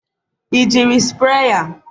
ị jiri sprayer?